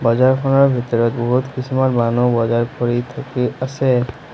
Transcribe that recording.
বজাৰখনৰ ভিতৰত বহুত কিছুমান মানুহ বজাৰ কৰি থাকি আছে।